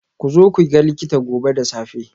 Ku zo ku ga likita gobe da safe.